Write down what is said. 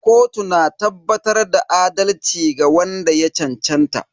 Kotu na tabbatar da adalci ga wanda ya cancanta.